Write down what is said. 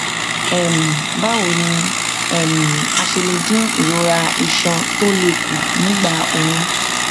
um báwo ni um a ṣe lè dín ìrora iṣan tó le kù nígbà oyún